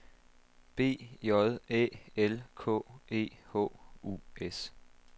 B J Æ L K E H U S